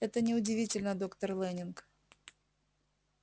это не удивительно доктор лэннинг